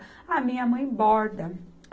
A minha mãe borda.